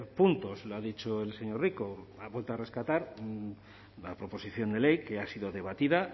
punto lo ha dicho el señor rico ha vuelto a rescatar la proposición de ley que ha sido debatida